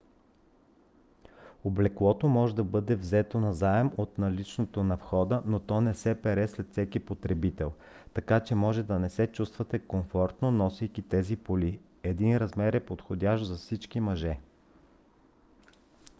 облеклото може да бъде взето назаем от наличното на входа но то не се пере след всеки потребител така че може да не се чувствате комфортно носейки тези поли. един размер е подходящ за всички мъже!